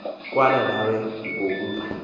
kwaala nawe ngokuba